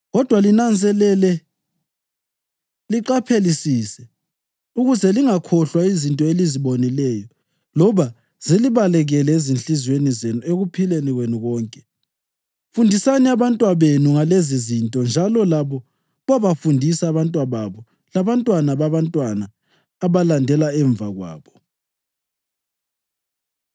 Kodwa linanzelele, liqaphelisise ukuze lingakhohlwa izinto elizibonileyo loba zilibaleke ezinhliziyweni zenu ekuphileni kwenu konke. Fundisani abantwabenu ngalezizinto njalo labo babofundisa abantwababo labantwana babantwana abalandela emva kwabo.